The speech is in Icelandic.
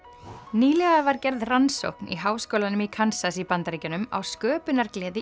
nýlega var gerð rannsókn í Háskólanum í Kansas í Bandaríkjunum á sköpunargleði